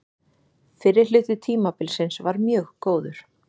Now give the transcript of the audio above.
Fyrri hluti tímabilsins var mjög góður.